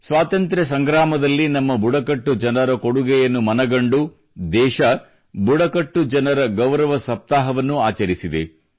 ಸ್ವಾತಂತ್ರ್ಯದಲ್ಲಿ ನಮ್ಮ ಬುಡಕಟ್ಟು ಜನರ ಕೊಡುಗೆಯನ್ನು ಮನಗಂಡು ದೇಶ ಬುಡಕಟ್ಟು ಜನರ ಗೌರವ ಸಪ್ತಾಹವನ್ನೂ ಆಚರಿಸಿದೆ